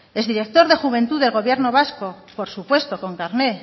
exdirector de juventud del gobierno vasco por supuesto con carnet